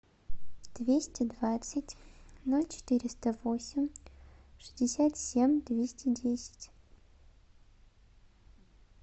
двести двадцать ноль четыреста восемь шестьдесят семь двести десять